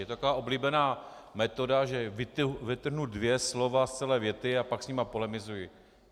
Je to taková oblíbená metoda, že vytrhnu dvě slova z celé věty a pak s nimi polemizuji.